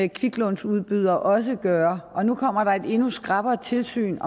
en kviklånsudbyder også gøre og nu kommer der et endnu skrappere tilsyn